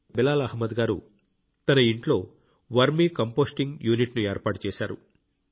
బిలాల్ గారు తన ఇంట్లో వర్మీ కంపోస్టింగ్ యూనిట్ను ఏర్పాటు చేశారు